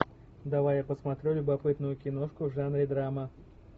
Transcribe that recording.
давай я посмотрю любопытную киношку в жанре драма